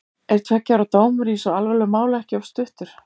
Er tveggja ára dómur í svo alvarlegu máli ekki of stuttur?